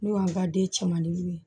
N'o y'an ka den cɛmandenw ye